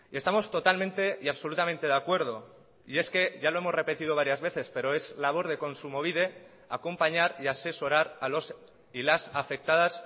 estamos totalmente y absolutamente de acuerdo y es que ya lo hemos repetido varias veces pero es labor de kontsumobide acompañar y asesorar a los y las afectadas